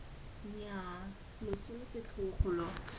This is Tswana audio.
nnyaa loso lo setlhogo lo